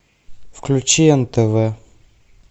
включи нтв